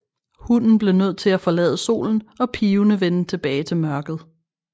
Hunden blev nødt til at forlade solen og pivende vende tilbage til mørket